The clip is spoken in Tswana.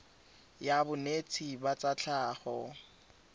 ya bonetshi ba tsa tlhago